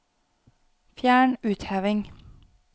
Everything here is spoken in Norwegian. Fjern utheving